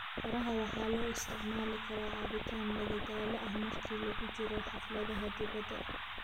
Qaraha waxaa loo isticmaali karaa cabitaan madadaalo ah marka lagu jiro xafladaha dibadda.